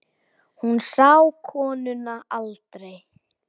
Hún sá konuna aldrei.